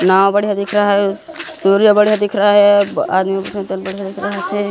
नाव बढ़िया दिख रहा है सूर्य बढ़िया दिख रहा है।